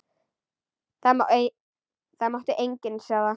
Það mátti enginn sjá það.